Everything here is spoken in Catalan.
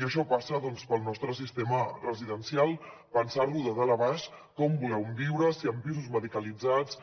i això passa doncs pel nostre sistema residencial pensar lo de dalt a baix com volem viure si en pisos medicalitzats